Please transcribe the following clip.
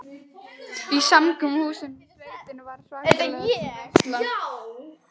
Í samkomuhúsinu í sveitinni var svakalega fín veisla.